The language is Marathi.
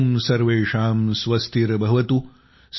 ॐ सर्वेषां स्वस्तिर्भवतु